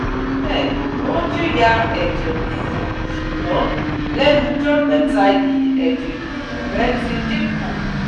Be, o jiya eje ruru sugbon lenujometa yi eje ruru re ti din ku